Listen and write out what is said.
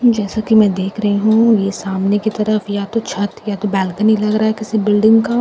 जैसा कि मैं देख रही हूं ये सामने की तरफ या तो छत या तो बैलकनी लग रहा है किसी बिल्डिंग का--